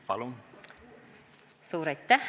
Palun!